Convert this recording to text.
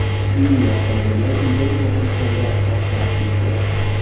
Uning avtomobili uyidan uzoqlashganida portlab ketgan.